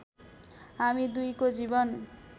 हामी दुईको जीवन